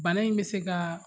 Bana in bɛ se kaa